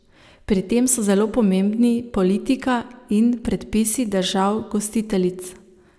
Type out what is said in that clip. Pri tem so zelo pomembni politika in predpisi držav gostiteljic.